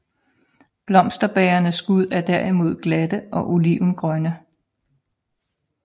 Blomsterbærende skud er derimod glatte og olivengrønne